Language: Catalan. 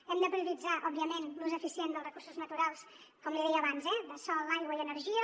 hem de prioritzar òbviament l’ús eficient dels recursos naturals com li deia abans eh de sol aigua i energia